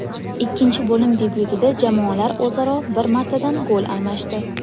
Ikkinchi bo‘lim debyutida jamoalar o‘zaro bir martadan gol almashdi.